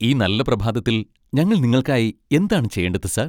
ഈ നല്ല പ്രഭാതത്തിൽ ഞങ്ങൾ നിങ്ങൾക്കായി എന്താണ് ചെയ്യേണ്ടത് സർ?